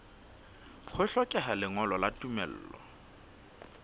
ho hlokeha lengolo la tumello